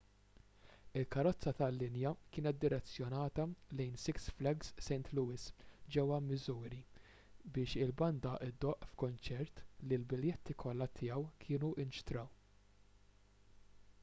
il-karozza tal-linja kienet direzzjonata lejn six flags st louis ġewwa missouri biex il-banda ddoqq f'kunċert li l-biljetti kollha tiegħu kienu nxtraw